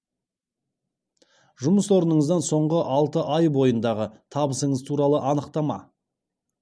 жұмыс орныңыздан соңғы алты ай бойындағы табысыңыз туралы анықтама